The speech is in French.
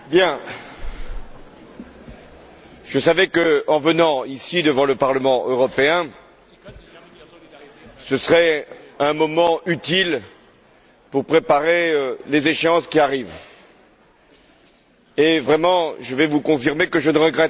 Je savais que ma venue ici, devant le Parlement européen, serait un moment utile pour préparer les échéances qui arrivent. Et, vraiment, je vais vous confirmer que je ne regrette pas ma présence ce matin,